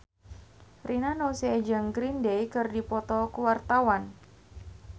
Rina Nose jeung Green Day keur dipoto ku wartawan